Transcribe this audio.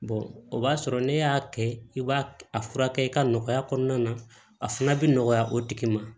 o b'a sɔrɔ ne y'a kɛ i b'a furakɛ i ka nɔgɔya kɔnɔna na a fana bɛ nɔgɔya o tigi ma